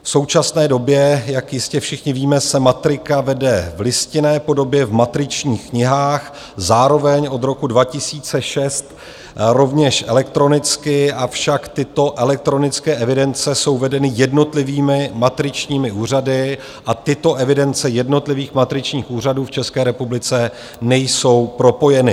V současné době, jak jistě všichni víme, se matrika vede v listinné podobě v matričních knihách, zároveň od roku 2006 rovněž elektronicky, avšak tyto elektronické evidence jsou vedeny jednotlivými matričními úřady a tyto evidence jednotlivých matričních úřadů v České republice nejsou propojeny.